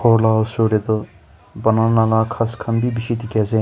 khorla osor teh toh banana laga khas khanbeh beshi teki ase.